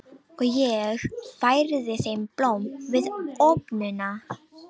Og ég færði þeim blóm við opnunina.